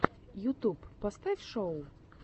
ютуб поставь шоу